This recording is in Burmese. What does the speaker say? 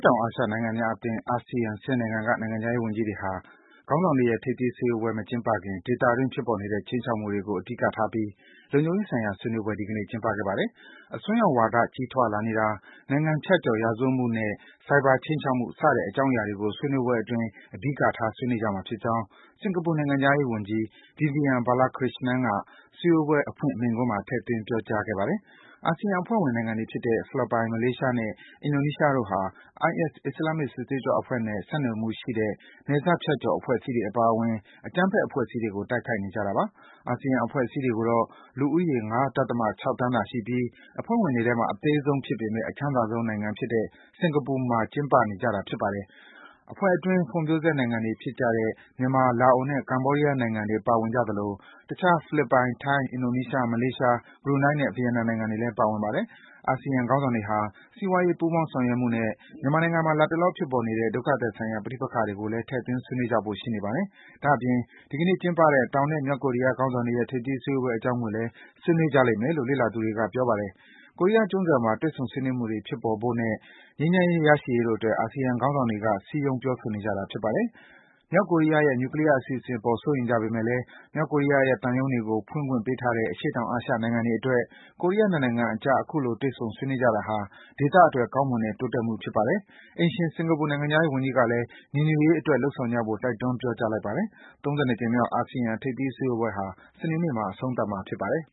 တောင်အာရှနိုင်ငံများအသင်း ASEAN ၁၀ နိုင်ငံက နိုင်ငံခြားရေးဝန်ကြီးတွေဟာ ခေါင်းဆောင်တွေရဲ့ ထိပ်သီးစည်းဝေးပွဲ မကျင်းပခင် ဒေသတွင်း ဖြစ်ပေါ်နေတဲ့ ခြိမ်းခြောက်မှုတွေကို အဓိကထားပြီး လုံခြုံရေးဆိုင်ရာ ဆွေးနွေးပွဲ ဒီကနေ့ ကျင်းပခဲ့ပါတယ်။ အစွန်းရောက်ဝါဒ ကြီးထွားလာနေတာ၊ နိုင်ငံဖြတ်ကျော် ရာဇဝတ်မှုနဲ့ ဆိုင်ဘာ ခြိမ်းချောက်မှု စတဲ့ အကြောင်းအရာတွေကို ဆွေးနွေးပွဲအတွင်း အဓိကထား ဆွေးနွေးကြမှာဖြစ်ကြောင်း စင်္ကာပူနိုင်ငံခြားရေးဝန်ကြီး Vivian Balakrishnan က စည်းဝေးပွဲ အဖွင့်မိန့်ခွန်းမှာ ထည့်သွင်း ပြောကြားခဲ့ပါတယ်။ အာဆီယံ အဖွဲ့ဝင်နိုင်ငံတွေဖြစ်တဲ့ ဖိလစ်ပိုင်၊ မလေးရှားနဲ့ အင်ဒိုနီးရှား တို့ဟာ IS အစ္စလာမ်စစ်သွေးကြွအဖွဲ့နဲ့ ဆက်နွယ်မှုရှိတဲ့ နယ်စပ်ဖြတ်ကျော် အဖွဲ့အစည်းတွေ အပါအဝင် အကြမ်းဖက် အဖွဲ့အစည်းတွေကို တိုက်ခိုက်နေကြတာပါ။ အာဆီယံ စည်းဝေးပွဲတွေကိုတော့ လူဦးရေ ၅.၆ သန်းသာရှိပြီး အသေးဆုံးအဖွဲ့ဝင်တွေထဲမှာ အသေးဆုံးဖြစ်ပေမယ့် အချမ်းသာဆုံး နိုင်ငံဖြစ်တဲ့ စင်္ကာပူနိုင်ငံမှာ ကျင်းပနေတာပါ။ အဖွဲ့အတွင်း ဖွံ့ဖြိုးဆဲနိုင်ငံတွေဖြစ်တဲ့ မြန်မာ၊ လာအိုနဲ့ ကမ္ဘောဒီးယား နိုင်ငံတွေ ပါဝင်သလို တခြား ဖိလစ်ပိုင်၊ ထိုင်း၊ အင်ဒိုနီးရှား၊ မလေးရှား၊ ဘရူနိုင်းနဲ့ ဗီယက်နမ်နိုင်ငံတွေလည်း ပါဝင်ပါတယ်။ အာဆီယံ ခေါင်းဆောင်တွေဟာ စီးပွားရေး ပူးပေါင်းဆောင်ရွက်မှုနဲ့ မြန်မာနိုင်ငံမှာ လတ်တလော ဖြစ်ပေါ်နေတဲ့ ဒုက္ခသည်ဆိုင်ရာ ပဋိပက္ခ တွေကိုလည်း ထည့်သွင်း ဆွေးနွေးကြဖို့ ရှိနေပါတယ်။ ဒါ့အပြင် ဒီကနေ့ ကျင်းပခဲ့တဲ့ တောင်နဲ့ မြောက်ကိုရီးယား ခေါင်းဆောင်တွေရဲ့ ထိပ်သီး စည်းဝေးပွဲအကြောင်းကိုလည်း ဆွေးနွေးကြလိမ့်မယ်လို့ လေ့လာသူတွေက ပြောပါတယ်။ ကိုရီးယားကျွန်းဆွယ်မှာ တွေ့ဆုံ ဆွေးနွေးမှုတွေ ဖြစ်ပေါ်ဖို့နဲ့ ငြိမ်းချမ်းရေး ရရှိရေးတို့အတွက် အာဆီယံခေါင်းဆောင်တွေက စည်းရုံး ပြောဆိုနေကြတာ ဖြစ်ပါတယ်။ မြောက်ကိုရီးယားရဲ့ နြူကလီးယား အစီအစဉ်အပေါ် စိုးရိမ်နေကြပေမယ့် မြောက်ကိုရီးယားရဲ့ သံရုံးတွေကို ဖွင့်ခွင့်ပေးထားတဲ့ အရှေ့တောင် အာရှ နိုင်ငံတွေအတွက် ကိုရီးယား ၂ နိုင်ငံအကြား အခုလို တွေ့ဆုံ ဆွေးနွေးကြတာဟာ ဒေသအတွက် ကောင်းမွန်တဲ့ တိုးတက်မှုဖြစ်ပါတယ်။ အိမ်ရှင် စင်္ကာပူနိုင်ငံခြားရေးဝန်ကြီးကလည်း ညီညွတ်ရေးအတွက် လုပ်ဆောင်ကြဖို့ တိုက်တွန်း ပြောကြားလိုက်ပါတယ်။ ၃၂ ကြိမ်မြောက် အာဆီယံ ထိပ်သီးစည်းဝေးပွဲဟာ စနေနေ့မှာ အဆုံးသတ်မှာ ဖြစ်ပါတယ်